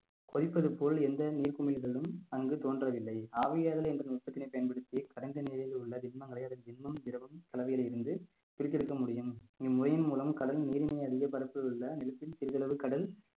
கொதிப்பது போல் எந்த நீர் குமிழ்களும் அங்கு தோன்றவில்லை ஆவியாதல் என்ற நுட்பத்தினை பயன்படுத்தி கடந்த நிலையில் உள்ள திண்மங்களை அதன் திண்மம், திரவம் கலவையில் இருந்து பிரித்து எடுக்கமுடியும் இம்முறையின் மூலம் கடல் நீரினை அதிக பரப்பில் உள்ள நிலத்தில் சிறிதளவு கடல்